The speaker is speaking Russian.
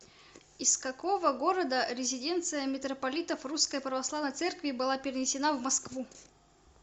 из какого города резиденция митрополитов русской православной церкви была перенесена в москву